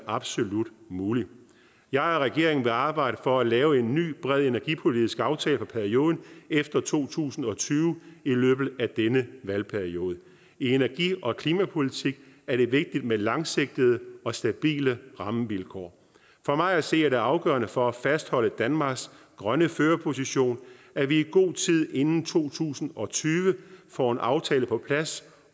absolut er mulig jeg og regeringen vil arbejde for at lave en ny bred energipolitisk aftale for perioden efter to tusind og tyve i løbet af denne valgperiode i energi og klimapolitik er det vigtigt med langsigtede og stabile rammevilkår for mig at se er det afgørende for at fastholde danmarks grønne førerposition at vi i god tid inden to tusind og tyve får en aftale på plads